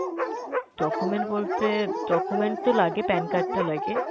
document বলতে document তো লাগে PAN card টা লাগে।